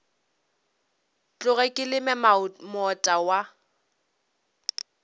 tloge ke leme moota wa